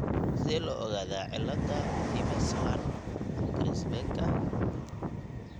Sidee loo ogaadaa cilada Imerslund Grasbecka?